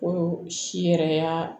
Ko si yɛrɛ